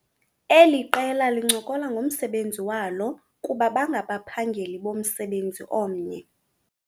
Eli qela lincokola ngomsebenzi walo kuba ngabaphageli bomsebenzi omnye.